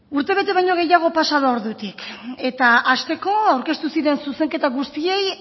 urtebete baino gehiago pasa da ordutik eta hasteko aurkeztu ziren zuzenketa guztiei